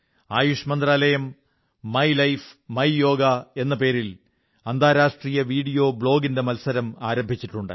ആയുഷ് മന്ത്രാലയം my life my yoga എന്ന പേരിൽ അന്താരാഷ്ട്ര വീഡിയോ ബ്ലോഗ് മത്സരം ആരംഭിച്ചിട്ടുണ്ട്